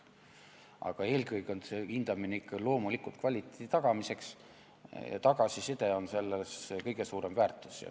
Aga eelkõige on hindamine mõeldud ikka loomulikult kvaliteedi tagamiseks, tagasiside on selle kõige suurem väärtus.